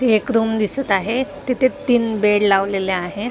एक रूम दिसत आहेत तिथे तीन बेड लावलेले आहेत.